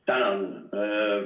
Tänan!